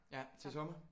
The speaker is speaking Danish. Ja til sommer?